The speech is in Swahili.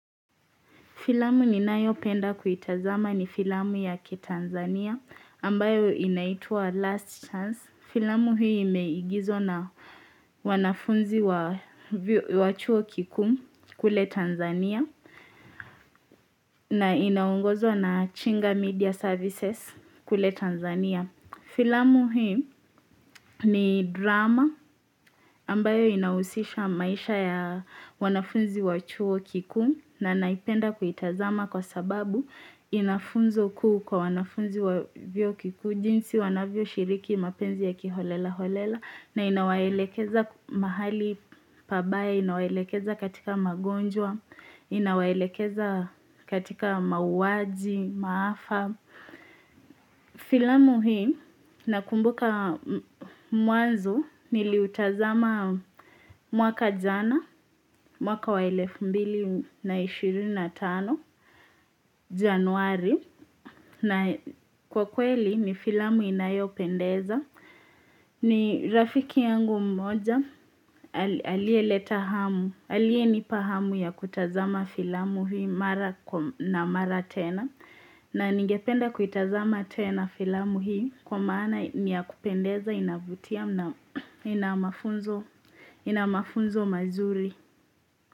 Filamu ninayopenda kuitazama ni filamu ya kitanzania ambayo inaitwa Last Chance. Filamu hii imeigizwa na wanafunzi wa chuo kikuu kule Tanzania na inaongozwa na Chinga Media Services kule Tanzania. Filamu hii ni drama ambayo inahusisha maisha ya wanafunzi wachuo kikuu na naipenda kuitazama kwa sababu inafunzo kuu kwa wanafunzi wa vyuo kikuu jinsi wanavyoshiriki mapenzi ya kiholela holela na inawaelekeza mahali pabaya, inawaelekeza katika magonjwa, inawaelekeza katika mauwaji, maafa. Kwa filamu hii nakumbuka mwanzo niliutazama mwaka jana mwaka wa elefu mbili na ishirini na tano januari na kwa kweli ni filamu inayopendeza. Ni rafiki yangu mmoja aliyeleta hamu aliyenipa hamu ya kutazama filamu hii mara na mara tena na ningependa kuitazama tena filamu hii kwa maana ni yakupendeza inavutia na ina mafunzo mazuri.